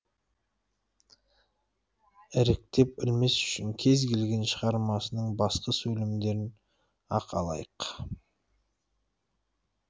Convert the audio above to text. іріктеп ілмес үшін кез келген шығармасының басқы сөйлемдерін ақ алайық